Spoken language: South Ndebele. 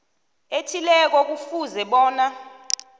ethileko kufuze bona